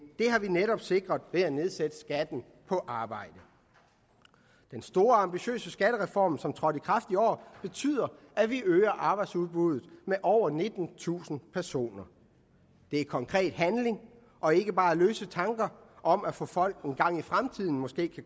har vi netop sikret ved at nedsætte skatten på arbejde den store ambitiøse skattereform som trådte i kraft i år betyder at vi øger arbejdsudbuddet med over nittentusind personer det er konkret handling og ikke bare løse tanker om at få folk til engang i fremtiden måske